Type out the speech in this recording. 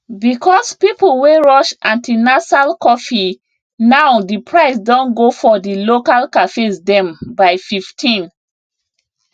because people wey rush antinasal coffee now diprice don go for di local cafes dem by 15